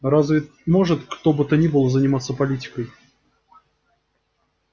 разве может кто бы то ни было не заниматься политикой